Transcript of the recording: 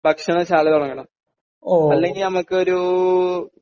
ഭക്ഷണശാല തുടങ്ങണം അല്ലെങ്കിൽ നമുക്കൊരു